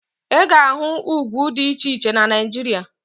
Ị ga-ahụ ugwu dị iche iche na Naịjirịa